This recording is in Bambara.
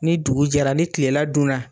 Ni dugu jɛra ni tilela dun na